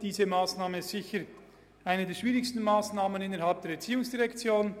Diese Massnahme gehört sicher zu den schwierigsten innerhalb der ERZ.